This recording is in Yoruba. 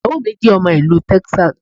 Ìyàwó mi jẹ́ ọmọ Ìlú Texas